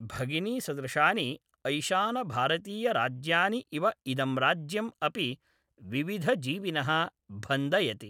भगिनीसदृशानि ऐशानभारतीयराज्यानि इव इदं राज्यम् अपि विविधजीविनः भन्दयति।